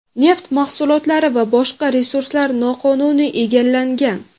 neft mahsulotlari va boshqa resurslar noqonuniy egallangan.